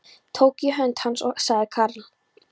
Tók í hönd hans og sagði Karl